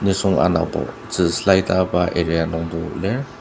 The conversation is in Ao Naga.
nisung anabo tzü slide asüba area nungto lir.